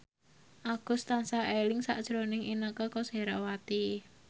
Agus tansah eling sakjroning Inneke Koesherawati